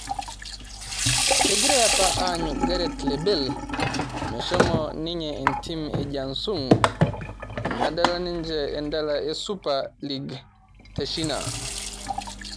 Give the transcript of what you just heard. kegirai apa aanyu gareth le Bale meshomo ninye entim e Jiansung nadala ninje endala e supa lig techina